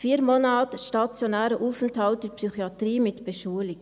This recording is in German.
Vier Monate stationärer Aufenthalt in der Psychiatrie mit Beschulung;